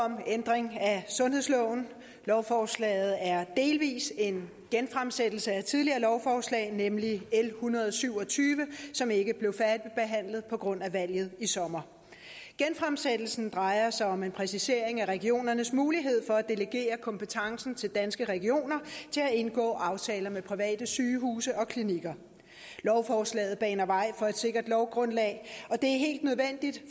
om ændring af sundhedsloven lovforslaget er delvis en genfremsættelse af et tidligere lovforslag nemlig l en hundrede og syv og tyve som ikke blev færdigbehandlet på grund af valget i sommer genfremsættelsen drejer sig om en præcisering af regionernes mulighed for at delegere kompetencen til danske regioner til at indgå aftaler med private sygehuse og klinikker lovforslaget baner vej for et sikkert lovgrundlag og det